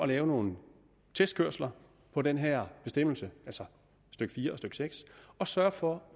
lave nogle testkørsler på den her bestemmelse altså stykke fire og stykke seks og sørge for